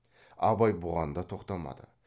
абай бұған да тоқтамады